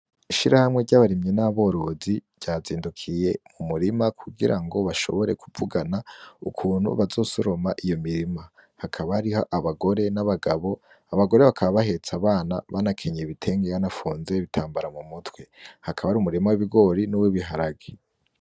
Ishira hamwe ry'abarimyi n'aborozi ryazindukiye mu murima kugira ngo bashobore kuvugana ukuntu bazosoroma iyo mirima, hakaba ariho abagore n'abagabo abagore bakaba bahetsa abana banakenyeye ibitenge wanafunze bitambara mu mutwe, hakabamwo ari umurima w'ibigori n'uwoibiharage.